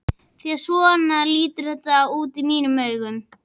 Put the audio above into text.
Því að svona lítur þetta út í mínum augum.